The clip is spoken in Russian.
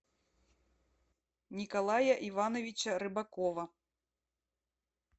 николая ивановича рыбакова